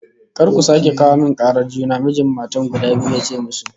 "Kar ku sake kawo min karar juna!" Mijin matan guda biyu ya ce musu